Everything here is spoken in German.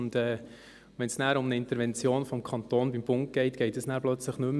Und wenn es um eine Intervention des Kantons beim Bund geht, geht das dann plötzlich nicht mehr.